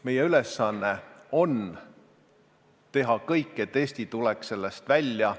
Meie ülesanne on teha kõik, et Eesti tuleks sellest kriisist välja.